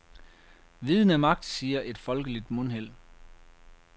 Viden er magt, siger et folkeligt mundheld.